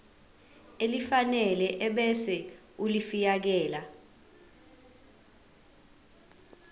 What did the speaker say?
elifanele ebese ulifiakela